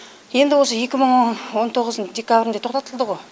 енді осы екі мың он тоғыздың декабрінде тоқтатылдығо